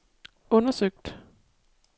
undersøgt